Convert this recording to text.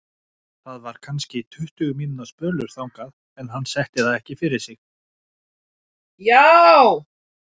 Það var kannski tuttugu mínútna spölur þangað en hann setti það ekki fyrir sig.